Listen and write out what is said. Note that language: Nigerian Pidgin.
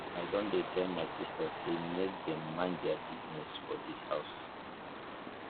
i don tell my sistas sey make dem mind their business for dis house